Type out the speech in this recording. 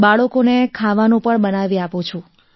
બાળકોને ખાવાનું પણ બનાવી આપું છું